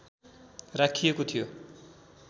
राखिएको थियो